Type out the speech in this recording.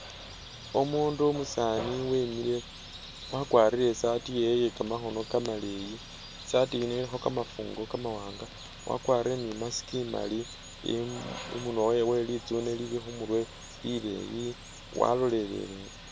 Umundu umusaani wemile wakwarire isaati yewe iye kamakhono kamaleyi isaati yino ilikho kamafugo ka mawanga wakwarire ni imask imali i munwa wewe litsune lili khumurwe li leeyi walolelele.